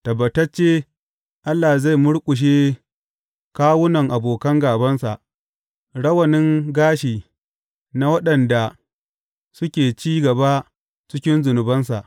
Tabbatacce Allah zai murƙushe kawunan abokan gābansa, rawanin gashi na waɗanda suke ci gaba cikin zunubansa.